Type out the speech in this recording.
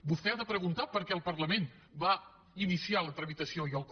vostè ha de preguntar per què el parlament va iniciar la tramitació i el com